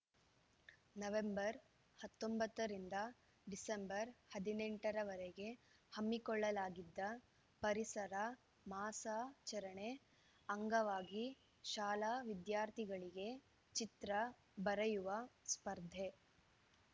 November ಹತ್ತೊಂಬತ್ತು ರಿಂದ December ಹದಿನೆಂಟ ರ ವರೆಗೆ ಹಮ್ಮಿಕೊಳ್ಳಲಾಗಿದ್ದ ಪರಿಸರ ಮಾಸಾಚರಣೆ ಅಂಗವಾಗಿ ಶಾಲಾ ವಿದ್ಯಾರ್ಥಿಗಳಿಗೆ ಚಿತ್ರ ಬರೆಯುವ ಸ್ಪರ್ಧೆ